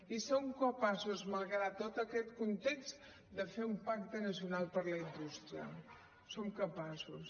i som capaços malgrat tot aquest context de fer un pacte nacional per la indústria en som capaços